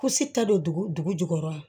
ta don dugu jukɔrɔ